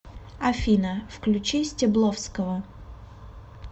афина включи стебловского